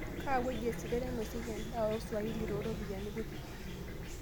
kaa wueji esidiai nainosieki endaa oo swahili too ropyiani kuti